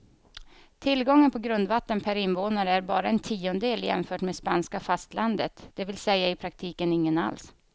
Tillgången på grundvatten per invånare är bara en tiondel jämfört med spanska fastlandet, det vill säga i praktiken ingen alls.